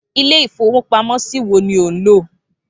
Ilé-ìfowópamọ́sí wo ni ò ń lò?